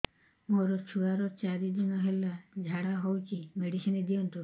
ମୋର ଛୁଆର ଚାରି ଦିନ ହେଲା ଝାଡା ହଉଚି ମେଡିସିନ ଦିଅନ୍ତୁ